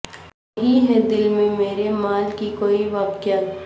نہیں ھے دل میں مرے مال کی کوئی وقعت